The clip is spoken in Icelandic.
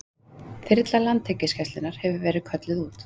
Þyrla Landhelgisgæslunnar hefur verið kölluð út